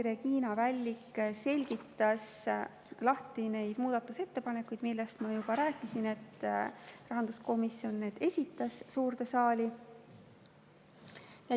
Regina Vällik selgitas neid muudatusettepanekuid, millest ma juba rääkisin ja mille rahanduskomisjon saatis suurde saali.